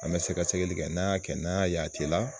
An bɛ sɛgɛ sɛgɛli kɛ n'an y'a kɛ n'an y'a ye a t'e la